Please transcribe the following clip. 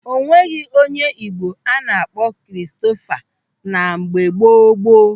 O nweghị onye Igbo a na-akpọ Kristofa na mgbe gboo gboo.